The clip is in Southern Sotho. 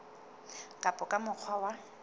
ka ba ka mokgwa wa